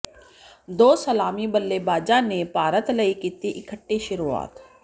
ਦੋ ਸਲਾਮੀ ਬੱਲੇਬਾਜ਼ਾਂ ਨੇ ਭਾਰਤ ਲਈ ਕੀਤੀ ਇਕੱਠੇ ਸ਼ੁਰੂਆਤ